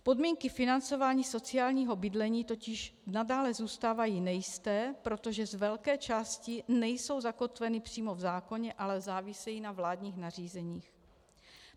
Podmínky financování sociálního bydlení totiž nadále zůstávají nejisté, protože z velké části nejsou zakotveny přímo v zákoně, ale závisejí na vládních nařízeních.